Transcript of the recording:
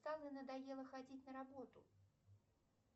надоело ходить на работу